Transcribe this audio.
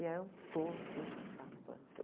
E eram todos a bando.